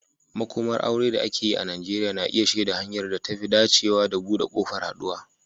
Makomar aure da ake yi a Najeriya na iya shaida hanyar da ta fi dacewa da buɗe ƙofar haɗuwa.